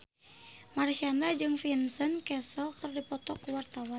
Marshanda jeung Vincent Cassel keur dipoto ku wartawan